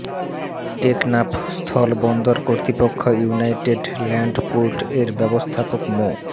টেকনাফ স্থল বন্দর কর্তৃপক্ষ ইউনাইটেড ল্যান্ড পোর্ট এর ব্যবস্থাপক মো